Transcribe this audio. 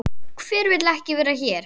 Hver vill ekki vera hér?